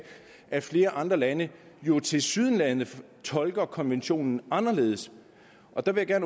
at flere andre lande jo tilsyneladende tolker konventionen anderledes og der vil jeg